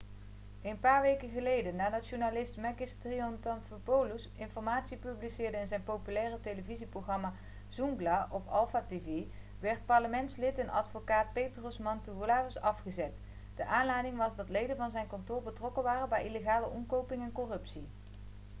een paar weken geleden nadat journalist makis triantafylopoulos informatie publiceerde in zijn populaire televisieprogramma zoungla' op alpha tv werd parlementslid en advocaat petros mantouvalos afgezet de aanleiding was dat leden van zijn kantoor betrokken waren bij illegale omkoping en corruptie